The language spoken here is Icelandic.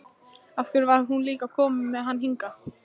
Af hverju var hún líka að koma með hann hingað?